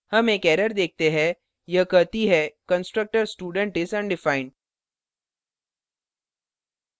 हम एक error देखते है यह कहती है constructor student is undefined